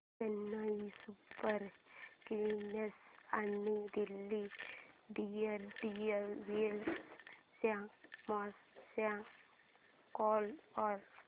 Chennai super kings आणि Delhi daredevils च्या match चा स्कोअर